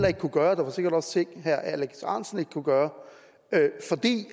ikke kunne gøre og der var sikkert også ting herre alex ahrendtsen ikke kunne gøre fordi